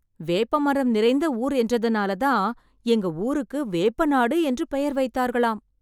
வேப்பமரம் நிறைந்த ஊர் என்றனால தான், எங்க ஊருக்கு வேப்பநாடு என்று பெயர் வைத்தார்களாம்.